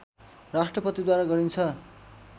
राष्‍ट्रपतिद्वारा गरिन्छ